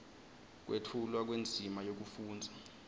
kwetfulwa kwendzima yekufundza